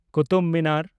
Qutub Minar